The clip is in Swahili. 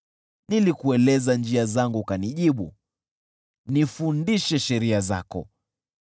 Nilikueleza njia zangu ukanijibu, nifundishe sheria zako.